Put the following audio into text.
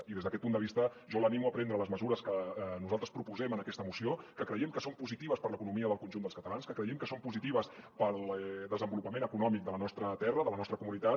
i des d’aquest punt de vista jo l’animo a prendre les mesures que nosaltres proposem en aquesta moció que creiem que són positives per a l’economia del conjunt dels catalans que creiem que són positives per al desenvolupament econòmic de la nostra terra de la nostra comunitat